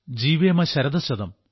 ജീവേമ ശരദഃ ശതം